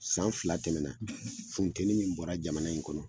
San fila tɛmɛna, , funtɛni min bɔra jamana in kɔnɔ